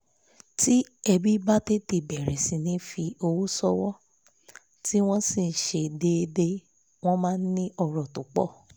tí ẹbí bá tètè bẹ̀rẹ̀ sí ní fi owó ṣòwò tí wọ́n sì ṣe é déédé wọ́n máa ní ọ̀rọ̀ tó pọ̀